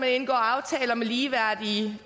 man indgår aftaler med ligeværdige